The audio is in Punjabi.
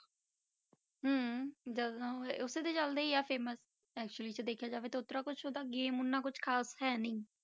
ਹਮ ਡਰ ਨਾ ਹੋਏ ਉਸੇ ਦੇ ਚੱਲਦਾ ਹੀ ਆ famous actually 'ਚ ਦੇਖਿਆ ਜਾਵੇ ਓਦਾਂ ਕੁਛ ਤਾਂ game ਓਨਾ ਕੁਛ ਖ਼ਾਸ ਹੈ ਨੀ